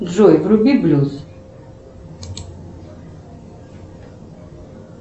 джой вруби блюз